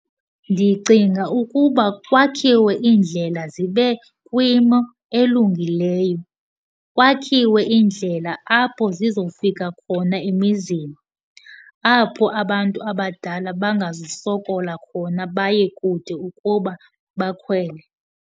Ndicinga ukuba kwakhiwe indlela zibe kwimo elungileyo, kwakhiwe indlela apho zizofika khona emizini, apho abantu abadala bangazusokola khona baye kude ukuba bakhwele.